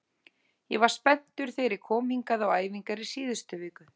Ég var spenntur þegar ég kom hingað á æfingar í síðustu viku.